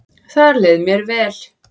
Þar leið mér vel